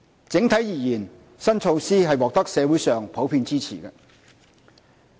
整體而言，新措施獲得社會上普遍支持。